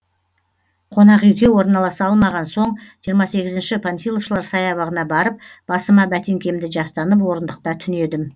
қонақүйге орналаса алмаған соң жиырма сегіз панфиловшылар саябағына барып басыма бәтеңкемді жастанып орындықта түнедім